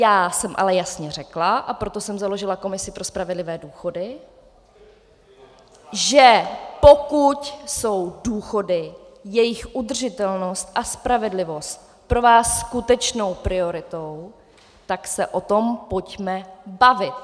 Já jsem ale jasně řekla, a proto jsem založila Komisi pro spravedlivé důchody, že pokud jsou důchody, jejich udržitelnost a spravedlivost pro vás skutečnou prioritou, tak se o tom pojďme bavit.